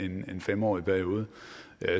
en fem årig periode